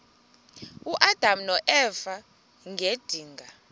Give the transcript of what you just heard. uadam noeva ngedinga